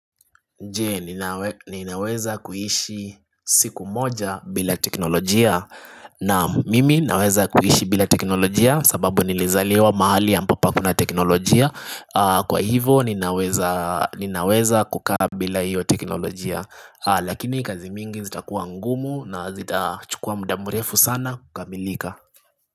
Je, ninaweza kuishi siku moja bila teknolojia? Naam, mimi naweza kuishi bila teknolojia, sababu nilizaliwa mahali ambapo hakuna teknolojia Kwa hivo, ninaweza ninaweza kukaa bila hiyo teknolojia Lakini kazi mingi zitakuwa ngumu na zitachukua muda mrefu sana kukamilika.